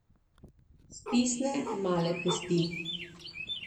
Stisne male pesti.